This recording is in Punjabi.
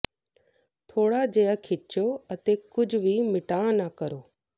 ਥੋੜਾ ਜਿਹਾ ਖਿੱਚੋ ਅਤੇ ਕੁਝ ਵੀ ਮਿਟਾ ਨਾ ਕਰੋ